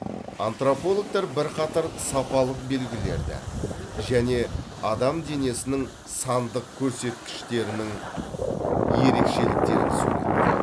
антропологтар бірқатар сапалық белгілерді және адам денесінің сандық көрсеткіштерінің ерекшеліктерін суреттейді